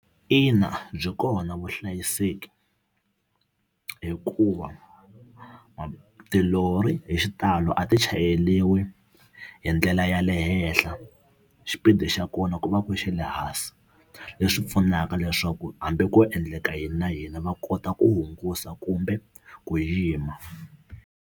Ina byi kona vuhlayiseki hikuva tilori hi xitalo a ti chayeriwi hi ndlela ya le henhla henhla xipidi xa kona ku va ku xa le hansi leswi pfunaka leswaku hambi ko endleka yini na yini va kota ku hungusa kumbe ku yima.